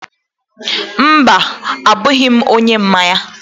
Mba, abụghị m onye mmanya